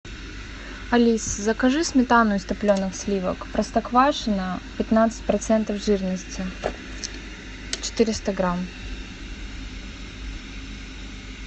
алиса закажи сметану из топленых сливок простоквашино пятнадцать процентов жирности четыреста грамм